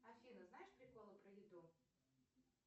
афина знаешь приколы про еду